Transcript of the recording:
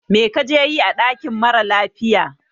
Mai ka je yi ã dakin mara lafiya?